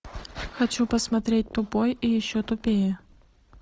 хочу посмотреть тупой и еще тупее